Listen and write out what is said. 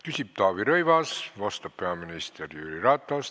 Küsib Taavi Rõivas, vastab peaminister Jüri Ratas.